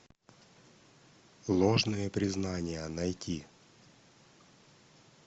ложные признания найти